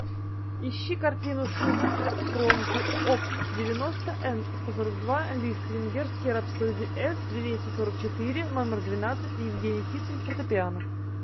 ищи картину шуберт экспромты оп девяносто энд сто сорок два лист венгерский рапсодия с двести сорок четыре номер двенадцать евгений кисин фортепиано